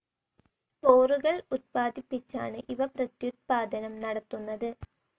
സ്പോറുകൾ ഉത്പാദിപ്പിച്ചാണ് ഇവ പ്രത്യുത്പാദനം നടത്തുന്നത്.